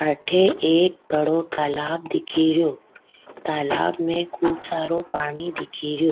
अठे एक बड़ो तालाब दिखेरो तालाब में खूब सारो पानी दिखेरो।